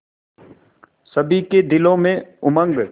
सभी के दिलों में उमंग